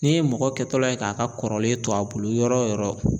N'i ye mɔgɔ kɛtɔla ye k'a ka kɔrɔlen to a bolo yɔrɔ